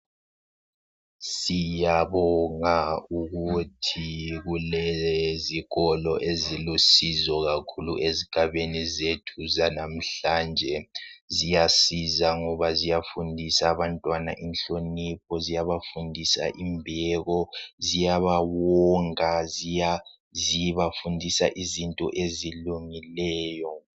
Siyabonga ukuthi kulezikolo ezilusizo kakhulu ezigabeni zethu zlamhlanje ziyasizisa ngoba ziyafundisa abantwana inhlonipho, ziyabafundisa imbeko, ziyabawonga, zibafundisa izinto ezilungileyo.